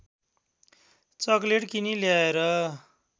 chocolate किनी ल्याएर